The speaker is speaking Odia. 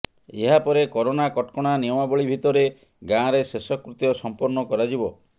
ଏହାପରେ କରୋନା କଟକଣା ନିୟମାବଳୀ ଭିତରେ ଗାଁରେ ଶେଷକୃତ୍ୟ ସମ୍ପନ୍ନ କରାଯିବ